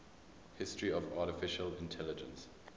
history of artificial intelligence